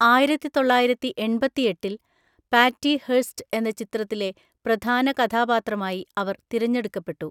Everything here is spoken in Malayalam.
ആയിരത്തിതൊള്ളയിരത്തിഎൺപത്തിഎട്ടിൽ പാറ്റി ഹെർസ്റ്റ് എന്ന ചിത്രത്തിലെ പ്രധാന കഥാപാത്രമായി അവർ തിരഞ്ഞെടുക്കപ്പെട്ടു.